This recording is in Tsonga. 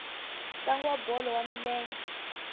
ntlangu wa bolo ya milenge